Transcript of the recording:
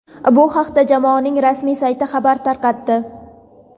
Bu haqda jamoaning rasmiy sayti xabar tarqatdi.